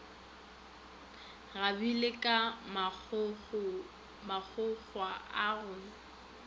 kgabile ka magogwa a go